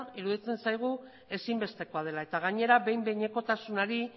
iruditzen zaigu ezinbestekoa dela eta gainera behin behinekotasunari